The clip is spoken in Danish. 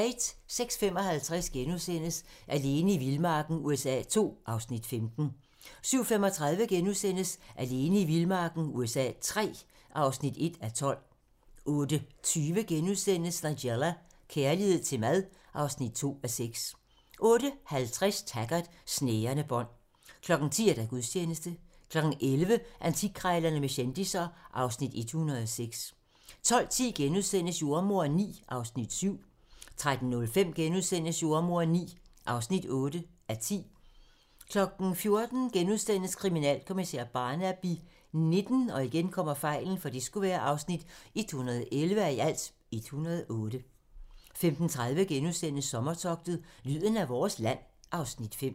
06:55: Alene i vildmarken USA II (Afs. 15)* 07:35: Alene i vildmarken USA III (1:12)* 08:20: Nigella - kærlighed til mad (2:6)* 08:50: Taggart: Snærende bånd 10:00: Gudstjeneste 11:00: Antikkrejlerne med kendisser (Afs. 106) 12:10: Jordemoderen IX (7:10)* 13:05: Jordemoderen IX (8:10)* 14:00: Kriminalkommissær Barnaby XIX (111:108)* 15:30: Sommertogtet - lyden af vores land (Afs. 5)*